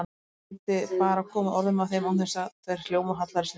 Ef hann gæti bara komið orðum að þeim án þess að þær hljómuðu hallærislega!